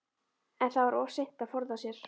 En það var of seint að forða sér.